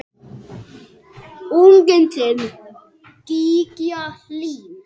Unginn þinn, Gígja Hlín.